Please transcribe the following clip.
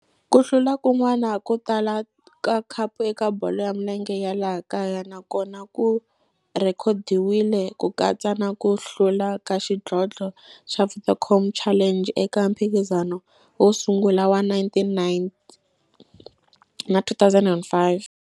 Ku hlula kun'wana ko tala ka khapu eka bolo ya milenge ya laha kaya nakona ku rhekhodiwile, ku katsa na ku hlula ka xidlodlo xa Vodacom Challenge eka mphikizano wo sungula wa 1999 na 2005.